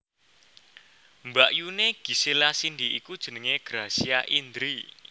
Mbakyuné Gisela Cindy iku jenengé Gracia Indri